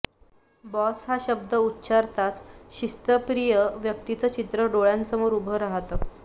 boss हा शब्द उच्चारताच शिस्तप्रिय व्यक्तीचं चित्र डोळ्यांसमोर उभं राहतं